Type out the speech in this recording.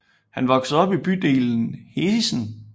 Han voksede op i bydelen Heessen